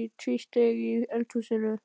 og tvísteig í eldhúsinu.